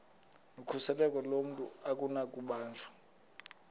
nokhuseleko lomntu akunakubanjwa